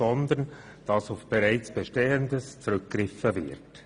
Vielmehr kann auf bereits Bestehendes zurückgriffen werden.